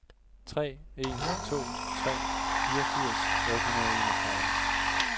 tre en to tre fireogfirs otte hundrede og enogtredive